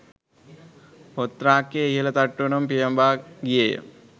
පොත් රාක්කයේ ඉහළ තට්ටුවටම පියඹා ගියේය